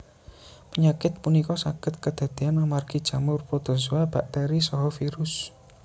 Penyakit punika saged kadadean amargi jamur protozoa bakteri saha virus